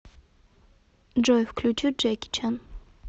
джой включи джеки чан